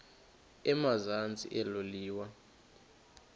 emazantsi elo liwa